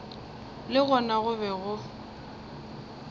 le gona go be go